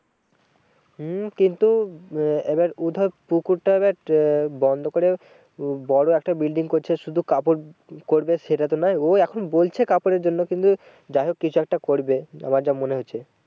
হম কিন্তু আহ এবার ও ধর পুকুরটা এবার বন্ধ করে উম বড়ো একটা building করছে শুধু কাপড় করবে সেটা তো নয়। ও এখন বলছে কাপড়ের জন্য কিন্তু যা হোক কিছু একটা করবে আমার যা মনে হচ্ছে।